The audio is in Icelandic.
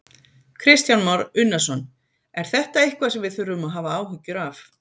Kristján Már Unnarsson: Er þetta eitthvað sem við þurfum að hafa áhyggjur af?